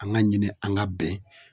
An ka ɲini an ka bɛn